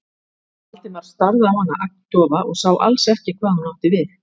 Valdimar starði á hana agndofa og sá alls ekki hvað hún átti við.